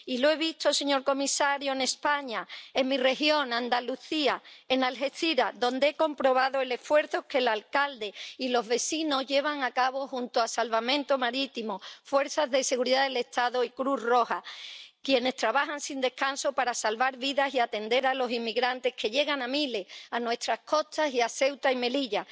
Y lo he visto, señor comisario, en España —en mi región, Andalucía, en Algeciras—, donde he comprobado el esfuerzo que el alcalde y los vecinos llevan a cabo junto a Salvamento Marítimo, las fuerzas de seguridad del Estado y Cruz Roja, quienes trabajan sin descanso para salvar vidas y atender a los inmigrantes que llegan a miles a nuestras costas y a Ceuta y Melilla.